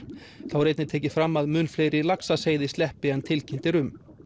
þá er einnig tekið fram að mun fleiri laxaseiði sleppi en tilkynnt er um